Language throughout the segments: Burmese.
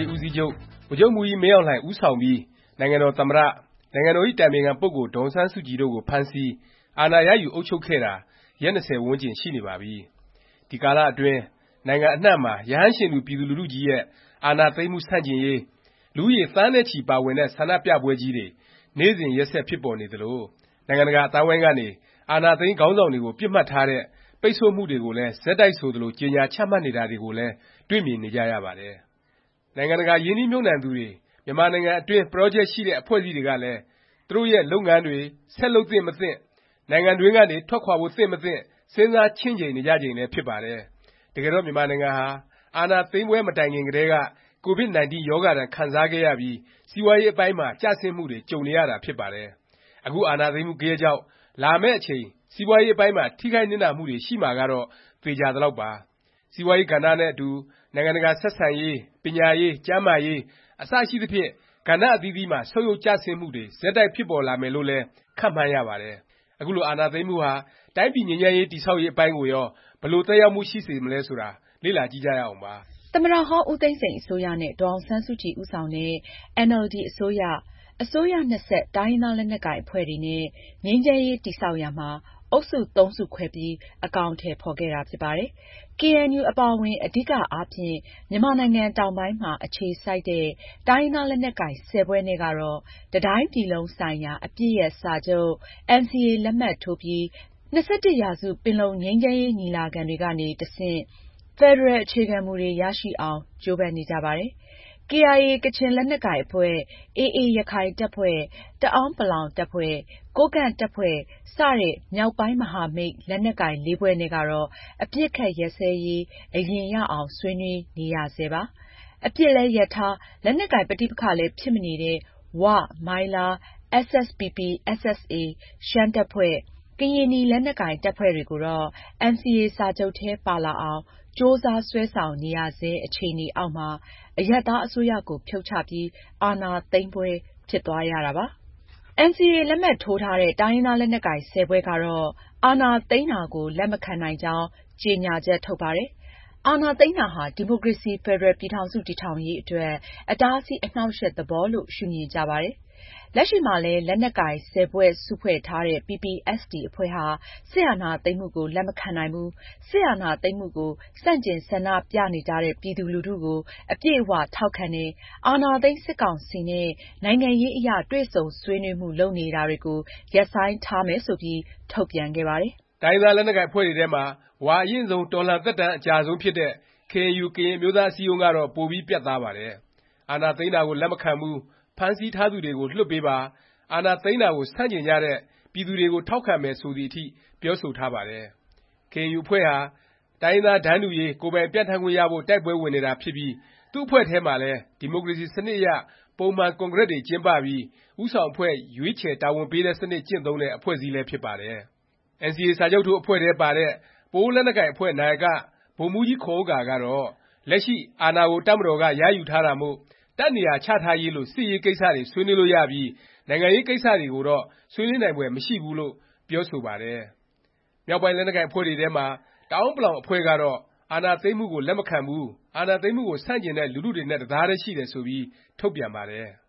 ေး ဦးစီးချုပ် ဗိုလ်ချုပ်မှူးကြီး မင်းအောင်လှိုင် ဦးဆောင်ပြီး နိုင်ငံတော် သမ္မတ၊ နိုင်ငံတော်၏ အတိုင်ပင်ခံ ပုဂ္ဂိုလ် ဒေါ်အောင်ဆန်းစုကြည် တို့ကို ဖမ်းဆီး၊ အာဏာရယူ အုပ်ချုပ်ခဲ့တာ ရက် ၂၀ ဝန်းကျင် ရှိနေပါပြီ။ ဒီကာလအတွင်း နိုင်ငံအနှံ့မှာ ရဟန်းရှင်လူ ပြည်သူလူထုကြီးရဲ့ အာဏာသိမ်းမှု ဆန့်ကျင်ရေး၊ လူဦးရေ သန်းနဲ့ချီ ပါဝင်တဲ့ ဆန္ဒပြပွဲကြီးတွေ နေ့စဉ် ရက်ဆက် ဖြစ်ပေါ်နေသလို၊ နိုင်ငံတကာ အသိုင်းအဝိုင်းကနေ အာဏာသိမ်း ခေါင်းဆောင်တွေကို ပစ်မှတ်ထားတဲ့ ပိတ်ဆို့မှုတွေကိုလည်း ဆက်တိုက် ဆိုသလို ကြေညာ ချမှတ်နေတာတွေကိုလည်း တွေ့မြင်နေကြပါတယ်။ နိုင်ငံတကာ ရင်းနှီးမြှုပ်နှံသူတွေ မြန်မာနိုင်ငံအတွင်း ပရောဂျက် ရှိတဲ့ အဖွဲ့အစည်းတွေကလည်း သူတို့ရဲ့ လုပ်ငန်းတွေ ဆက်လုပ်သင့်မသင့်၊ နိုင်ငံတွင်းကနေ ထွက်ခွာဖို့ သင့်မသင့် စဉ်းစားချင့်ချိန်နေကြချိန်လည်း ဖြစ်ပါတယ်။ တကယ်တော့ မြန်မာနိုင်ငံဟာ အာဏာသိမ်းပွဲ မတိုင်ခင်ကတည်းက ကိုဗစ်-19 ရောဂါဒဏ် ခံစားခဲ့ရပြီး စီးပွားရေးအပိုင်းမှာ ကျဆင်းမှုတွေ ကြုံနေရတာ ဖြစ်ပါတယ်။ အခု အာဏာသိမ်းမှု ဂယက်ကြောင့် လာမယ့်အချိန် စီးပွားရေးအပိုင်းမှာ ထိခိုက်နစ်နာမှုတွေ ရှိမှာကတော့ သေခြာသလောက်ပါ။ စီးပွားရေး ကဏ္ဍနဲ့အတူ နိုင်ငံတကာ ဆက်ဆံရေး၊ ပညာရေး၊ ကျန်းမာရေး အစရှိသဖြင့် ကဏ္ဍ အသီးသီးမှာ ဆုတ်ယုတ်ကျဆင်းမှုတွေ ဆက်တိုက် ဖြစ်ပေါ်လာမယ်လို့လည်း ခန့်မှန်းရပါတယ်။ အခုလို အာဏာသိမ်းမှုဟာ တိုင်းပြည် ငြိမ်းချမ်းရေး တည်ဆောက်ရေး အပိုင်းကိုရော ဘယ်လို သက်ရောက်မှု ရှိစေမလဲ ဆိုတာ လေ့လာကြည့်ကြရအောင်ပါ။ သမ္မတဟောင်း ဦးသိန်းစိန် အစိုးရနဲ့ ဒေါ်အောင်ဆန်းစုကြည် ဦးဆောင်တဲ့ အင်န်အယ်လ်ဒီ အစိုးရ၊ အစိုးရနှစ်ဆက် တိုင်းရင်းသား လက်နက်ကိုင် အဖွဲ့တွေနဲ့ ငြိမ်းချမ်းရေး တည်ဆောက်ရာမှာ အုပ်စု သုံးစုခွဲပြီး အကောင်အထည် ဖော်ခဲ့တာ ဖြစ်ပါတယ်။ ကေအဲန်ယူ အပါအဝင် အဓိက အားဖြင့် မြန်မာနိုင်ငံ တောင်ပိုင်းမှာ အခြေစိုက်တဲ့ တိုင်းရင်းသား လက်နက်ကိုင် ၁၀ ဖွဲ့နဲ့ကတော့ တစ်တိုင်းပြည်လုံးဆိုင်ရာ အပစ်ရပ်စာချုပ် NCA လက်မှတ်ထိုးပြီး ၂၁ ရာစု ပင်လုံ ငြိမ်းချမ်းရေး ညီလာခံတွေကနေ တဆင့် ဖက်ဒရယ် အခြေခံမူတွေ ရရှိအောင် ကြိုးပမ်းနေကြပါတယ်။ KIA ကချင် လက်နက်ကိုင်အဖွဲ့၊ AA ရခိုင်တပ်ဖွဲ့၊ တအဲန်းပလောင် တပ်ဖွဲ့၊ ကိုးကန့် တပ်ဖွဲ့ စတဲ့ မြောက်ပိုင်း မဟာမိတ် လက်နက်ကိုင် (၄) ဖွဲ့နဲ့ကတော့ အပစ်အခတ် ရပ်စဲရေး အရင်ရအောင် ဆွေးနွေးနေရဆဲပါ။ အပစ်လည်း ရပ်ထား၊ လက်နက်ကိုင် ပဋိပက္ခလည်း ဖြစ်မနေတဲ့ ဝ၊ မိုင်းလား၊ SSPP/SSA ရှမ်းတပ်ဖွဲ့၊ ကရင်နီ လက်နက်ကိုင် တပ်ဖွဲ့တွေကိုတော့ NCA စာချုပ်ထဲ ပါလာအောင် ကြိုးစား ဆွဲဆောင်နေရဆဲ အခြေအနေအောက်မှာ အရပ်သား အစိုးရကို ဖြုတ်ချပြီး အာဏာသိမ်းပွဲ ဖြစ်သွားရတာပါ။ NCA လက်မှတ်ထိုးထားတဲ့ တိုင်းရင်းသား လက်နက်ကိုင် ၁၀ ဖွဲ့ကတော့ အာဏာသိမ်းတာကို လက်မခံနိုင်ကြောင်း ကြေညာချက် ထုတ်ပါတယ်။ အာဏာသိမ်းတာဟာ ဒီမိုကရေစီ ဖက်ဒရယ် ပြည်ထောင်စု တည်ထောင်ရေး အတွက် အတားအဆီး အနှောင့်အယှက်သဘော ရှုမြင်ကြပါတယ်။ လက်ရှိမှာလည်း လက်နက်ကိုင် ၁၀ ဖွဲ့ စုဖွဲ့ထားတဲ့ PPST အဖွဲ့ဟာ စစ်အာဏာသိမ်းမှုကို လက်မခံနိုင်ဘူး၊ စစ်အာဏာသိမ်းမှုကို ဆန့်ကျင် ဆန္ဒပြနေကြတဲ့ ပြည်သူလူထုကို အပြည့်အ၀ ထောက်ခံတယ်၊ အာဏာသိမ်း စစ်ကောင်စီနဲ့ နိုင်ငံရေးအရ တွေ့ဆုံဆွေးနွေးမှု လုပ်နေတာတွေကို ရပ်ဆိုင်းထားမယ် ဆိုပြီး ထုတ်ပြန်ခဲ့ပါတယ်။ တိုင်းရင်းသား လက်နက်ကိုင် အဖွဲ့တွေထဲမှာ ဝါအရင့်ဆုံး တော်လှန်သက်တမ်း အကြာဆုံးဖြစ်တဲ့ KNU ကရင် အမျိုးသား အစည်းအရုံးကတော့ ပိုပြီး ပြတ်သားပါတယ်။ အာဏာသိမ်းတာကို လက်မခံဘူး၊ ဖမ်းဆီးထားသူတွေကို လွှတ်ပေးပါ၊ အာဏာသိမ်းတာကို ဆန့်ကျင်ကြတဲ့ ပြည်သူတွေကို ထောက်ခံမယ် ဆိုသည်အထိ ပြောဆိုထားပါတယ်။ ကေအဲန်ယူ အဖွဲ့ဟာ တိုင်းရင်းသား တန်းတူရေး၊ ကိုယ်ပိုင်ပြဌာန်းခွင့်ရဖို့ တိုက်ပွဲဝင်နေတာဖြစ်ပြီး သူ့အဖွဲ့ထဲမှာလည်း ဒီမိုကရေစီ စနစ်အရ ပုံမှန် ကွန်ဂရက်တွေ ကျင်းပပြီး ဦးဆောင်အဖွဲ့ ရွေးချယ် တာဝန်ပေးတဲ့ စနစ် ကျင့်သုံးတဲ့ အဖွဲ့အစည်းလည်း ဖြစ်ပါတယ်။ NCA စာချုပ်ထိုး အဖွဲ့ထဲပါတဲ့ ပအိုးဝ် လက်နက်ကိုင် အဖွဲ့ နာယက ဗိုလ်မှူးကြီးခွန်ဥက္ကာ ကတော့ လက်ရှိ အာဏာကို တပ်မတော်က ရယူထားတာမို့ တပ်နေရာချထားရေးလို စစ်ရေးကိစ္စတွေ ဆွေးနွေးလို့ရပြီး နိုင်ငံရေး ကိစ္စတွေကိုတော့ ဆွေးနွေးနိုင်ဖွယ် မရှိဘူးလို့ ပြောဆိုပါတယ်။ မြောက်ပိုင်း လက်နက်ကိုင် အဖွဲ့တွေထဲမှာ တအဲာန်းပလောင် အဖွဲ့ကတော့ အာဏာသိမ်းမှုကို လက်မခံဘူး၊ အာဏာသိမ်းမှုကို ဆန့်ကျင်တဲ့ လူထုတွေနဲ့ တစ်သားတည်း ရှိတယ် ဆိုပြီး ထုတ်ပြန်ပါတယ်။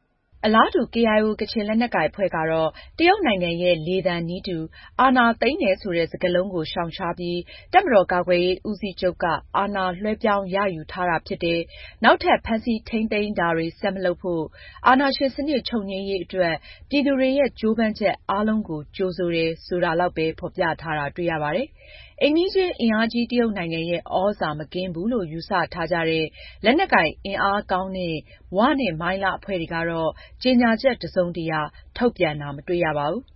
အလားတူ KIO ကချင်လက်နက်ကိုင် အဖွဲ့ကတော့ တရုတ်နိုင်ငံရဲ့ လေသံနည်းတူ အာဏာသိမ်းတယ် ဆိုတဲ့ စကားလုံးကို ရှောင်ရှားပြီး တပ်မတော်ကာကွယ်ရေး ဦးစီးချုပ်က အာဏာလွဲှပြောင်း ရယူထားတာ ဖြစ်တယ်၊ နောက်ထပ် ဖမ်းဆီး ထိမ်းသိမ်းတာတွေ ဆက်မလုပ်ဖို့၊ အာဏာရှင်စနစ် ချုပ်ငြိမ်းရေး အတွက် ပြည်သူတွေရဲ့ ကြိုးပမ်းချက် အားလုံးကို ကြိုဆိုတယ် ဆိုတာလောက်ပဲ ဖော်ပြထားတာ တွေ့ရပါတယ်။ အိမ်နီးချင်း အင်အားကြီး တရုတ်နိုင်ငံရဲ့ သြဇာ မကင်းဘူးလို့ ယူဆ ထားကြတဲ့၊ လက်နက်ကိုင် အင်အားကောင်းတဲ့ ၀ နဲ့ မိုင်းလား အဖွဲ့တွေကတော့ ကြေညာချက် တစ်စုံတစ်ရာ ထုတ်ပြန်တာ မတွေ့ရပါဘူး။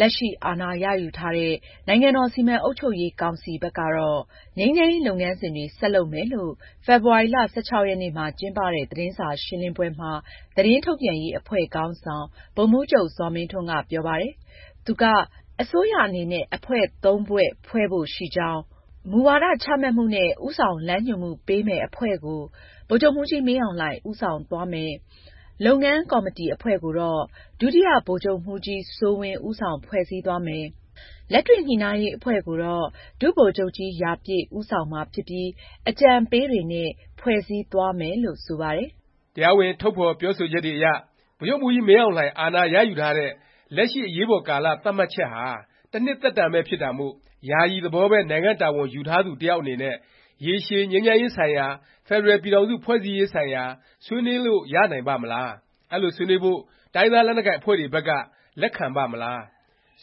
လက်ရှိ အာဏာရယူထားတဲ့ နိုင်ငံတော် စီမံအုပ်ချုပ်ရေး ကောင်စီ ဘက်ကတော့ ငြိမ်းချမ်းရေး လုပ်ငန်းစဉ်တွေ ဆက်လုပ်မယ်လို့ ဖေဖေါ်ဝါရီ ၁၆ ရက်နေ့မှာကျင်းပတဲ့ သတင်းစာရှင်းလင်းပွဲမှာ သတင်းထုတ်ပြန်ရေး အဖွဲ့ခေါင်းဆောင် ဗိုလ်မှူးချုပ် ဇော်မင်းထွန်းက ပြောပါတယ်။ သူက အစိုးရအနေနဲ့ အဖွဲ့(၃) ဖွဲ့ ဖွဲ့မယ် ဖြစ်ကြောင်း၊ မူဝါဒချမှတ်မှုနဲ့ ဦးဆောင်လမ်းညွှန်မှုပေးမယ့် အဖွဲ့ကို ဗိုလ်ချုပ်မှူးကြီး မင်းအောင်လှိုင် ဦးဆောင်သွားမယ်၊ လုပ်ငန်း ကော်မတီ အဖွဲ့ကိုတော့ ဒုတိယဗိုလ်ချုပ်မှူးကြီး စိုးဝင်း ဦးဆောင် ဖွဲ့စည်းသွားမယ်၊ လက်တွေ့ ညှိနှိုင်းရေး အဖွဲ့ကိုတော့ ဒုဗိုလ်ချုပ်ကြီး ရာပြည့် ဦးဆောင်မှာ ဖြစ်ပြီး အကြံပေးတွေနဲ့ ဖွဲ့စည်းသွားမယ် လို့ ဆိုပါတယ်။ တရားဝင် ထုတ်ဖော်ပြောဆိုချက်တွေအရ ဗိုလ်ချုပ်မှူးကြီး မင်းအောင်လှိုင် အာဏာရယူထားတဲ့ လက်ရှိ အရေးပေါ်ကာလ သတ်မှတ်ချက်ဟာ တစ်နှစ်သက်တမ်းပဲ ဖြစ်တာမို့ ယာယီသဘောပဲ နိုင်ငံ့တာဝန်ယူထားသူ တစ်ယောက်နဲ့ ရေရှည် ငြိမ်းချမ်းရေးဆိုင်ရာ၊ ဖက်ဒရယ်ပြည်ထောင်စု ဖွဲ့စည်းရေးဆိုင်ရာ ဆွေးနွေးလို့ ရနိုင်ပါ့မလား၊ အဲလို ဆွေးနွေးဖို့ တိုင်းရင်းသား လက်နက်ကိုင် အဖွဲ့တွေဘက်က လက်မခံပါ့မလား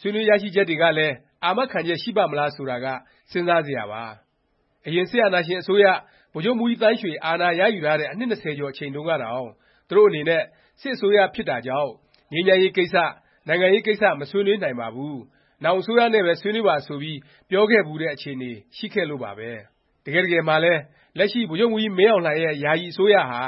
၊ ဆွေးနွေးရရှိချက်တွေကလည်း အာမခံချက် ရှိပါ့မလား ဆိုတာက စဉ်းစားစရာပါ။ အရင် စစ်အာဏာရှင် အစိုးရ ဗိုလ်ချုပ်မှူးကြီးသန်းရွှေ အာဏာရယူထားတဲ့ အနှစ် ၂၀ ကျော် အချိန်တုန်းကတောင် သူတို့အနေနဲ့ စစ်အစိုးရဖြစ်တာကြောင့် ငြိမ်းချမ်းရေးကိစ္စ၊ နိုင်ငံရေး ကိစ္စ မဆွေးနွေးနိုင်ပါဘူး၊ နောင် အစိုးရနဲ့ပဲ ဆွေးနွေးပါ ဆိုပြီး ပြောခဲ့ဖူးတဲ့ အခြေအနေ ရှိခဲ့လို့ပါပဲ။ တကယ့်တကယ်မှာလည်း လက်ရှိ ဗိုလ်ချုပ်မှူးကြီး မင်းအောင်လှိုင်ရဲ့ ယာယီ အစိုးရဟာ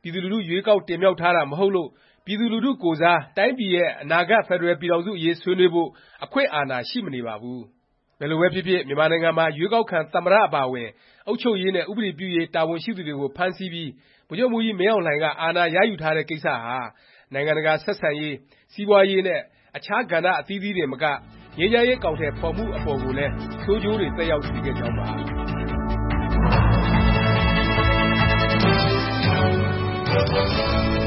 ပြည်သူလူထု ရွေးကောက်တင်မြှောက်ထားတာ မဟုတ်လို့ ပြည်သူလူထု ကိုယ်စား တိုင်းပြည်ရဲ့ အနာဂတ် ဖက်ဒရယ်ပြည်ထောင်စု အရေး ဆွေးနွေးဖို့ အခွင့်အာဏာ ရှိမနေပါဘူး။ ဘယ်လိုပဲဖြစ်ဖြစ် မြန်မာနိုင်ငံမှာ ရွေးကောက်ခံ သမ္မတ အပါအဝင် အုပ်ချုပ်ရေးနဲ့ ဥပဒေပြုရေး တာဝန်ရှိသူတွေကို ဖမ်းဆီးပြီး ဗိုလ်ချုပ်မှူးကြီး မင်းအောင်လှိုင်က အာဏာရယူထားတဲ့ကိစ္စဟာ နိုင်ငံတကာ ဆက်ဆံရေး၊ စီးပွားရေး နဲ့ အခြား ကဏ္ဍ အသီးသီးတင်မက ငြိမ်းချမ်းရေး အကောင်အထည် ဖော်မှု အပေါ်ကိုလည်း ဆိုးကျိုးတွေ သက်ရောက်စေခဲ့ကြောင်းပါ